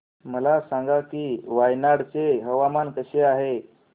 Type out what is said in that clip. मला सांगा की वायनाड चे हवामान कसे आहे